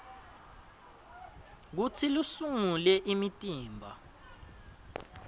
kutsi lusungule imitimba